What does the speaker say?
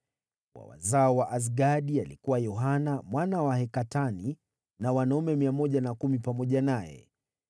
wa wazao wa Azgadi, alikuwa Yohanani mwana wa Hakatani na wanaume 110 pamoja naye;